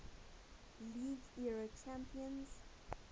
league era champions